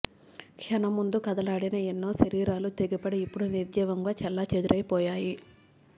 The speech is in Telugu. క్షణం ముందు కదలాడిన ఎన్నో శరీరాలు తెగిపడి ఇప్పుడు నిర్జీవంగా చెల్లాచెదురైపోయాయి